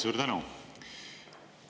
Suur tänu!